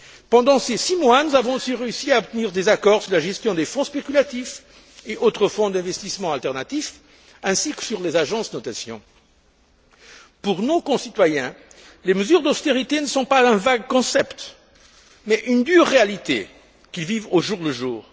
Pendant ces six mois, nous avons aussi réussi à obtenir des accords sur la gestion des fonds spéculatifs et autres fonds d'investissement alternatifs ainsi que sur les agences de notation. Pour nos concitoyens, les mesures d'austérité ne sont pas un vague concept mais une dure réalité qu'ils vivent au jour le jour.